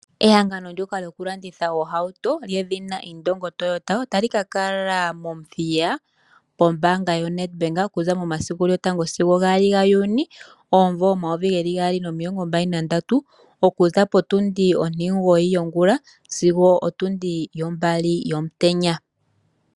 Ehangano ndyoka lyokulanditha oohautu lyedhina Indongo Toyota otali ka kala mOmuthiya pombaanga yoNedBank. Okuza momasiku lyotango sigo gaali ga Juni omumvo omayovi gaali nomilongo mbali nandatu. Okuza potundi ontimugoyi yongula sigo otundi yombali yomutenya.